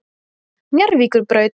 Njarðvíkurbraut